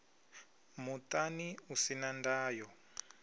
muṱani u si na ndayo